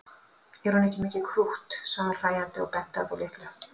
Er hún ekki mikið krútt sagði hún hlæjandi og benti á þá litlu.